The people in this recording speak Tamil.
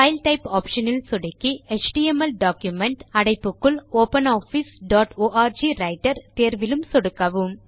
பைல் டைப் ஆப்ஷன் இல் சொடுக்கி எச்டிஎம்எல் டாக்குமென்ட் - அடைப்புக்குள் ஒப்பனாஃபிஸ் டாட் ஆர்க் ரைட்டர் தேர்விலும் சொடுக்கவும்